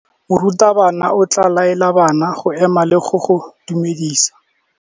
Morutabana o tla laela bana go ema le go go dumedisa.